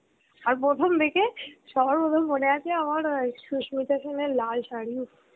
আর প্রথম দেখে, সবার প্রথমে মনে আছে আমার সুস্মিতা সেন এর লাল সারী